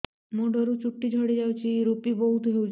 ମୁଣ୍ଡରୁ ଚୁଟି ଝଡି ଯାଉଛି ଋପି ବହୁତ ହେଉଛି